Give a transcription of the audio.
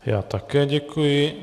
Já také děkuji.